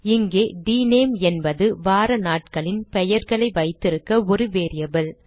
இங்கே டினேம் என்பது வாரநாட்களின் பெயர்களை வைத்திருக்க ஒரு வேரியபிள்